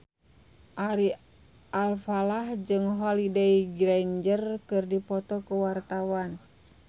Ari Alfalah jeung Holliday Grainger keur dipoto ku wartawan